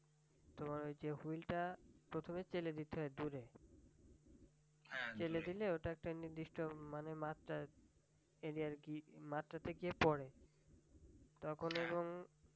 তোমার ওই যে wheel টা ফেলে দিতে হয় পুকুরে, ফেলে দিলে ওটা একটা নির্দিষ্ট মানে মাছটার এরিয়ায় আর কি মাঝখানে গিয়ে পরে তখন এবং